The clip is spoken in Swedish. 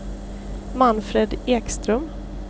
Manfred Ekström